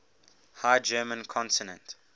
high german consonant